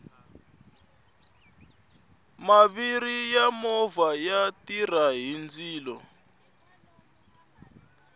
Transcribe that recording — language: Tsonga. maviri ya movha ya tirha hi ndzilo